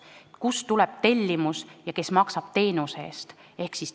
Kust ikkagi tuleb tellimus ja kes maksab teenuse eest?